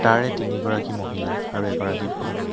তাৰে তিনি গৰাকী মহিলা আৰু এগৰাকী পুৰুষ।